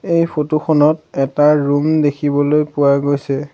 এই ফটো খনত এটা ৰুম দেখিবলৈ পোৱা গৈছে।